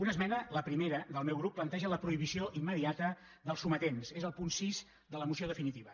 una esmena la primera del meu grup planteja la prohibició immediata dels sometents és el punt sis de la moció definitiva